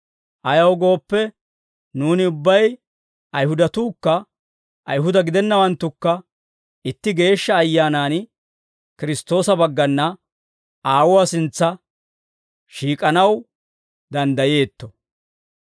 Ayaw gooppe, nuuni ubbay, Ayihudatuukka Ayihuda gidennawanttukka, itti Geeshsha Ayyaanan Kiristtoosa baggana Aawuwaa sintsa shiik'anaw danddayeetto.